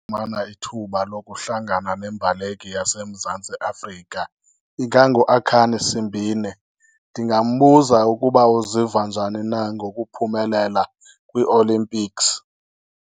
ithuba lokuhlangana nembaleki yaseMzantsi Afrika, inganguAkhane Simbine. Ndingambuza ukuba uziva njani na ngokuphumelela kwiolimpiksi.